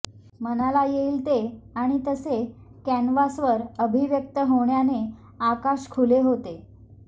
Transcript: मनाला येईल ते आणि तसे कॅनव्हासवर अभिव्यक्त होण्याने आकाश खुले होते